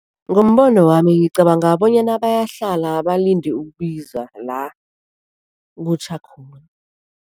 Ngombono wami, ngicabanga bonyana bayahlala balinde ukubizwa la kutjha khona.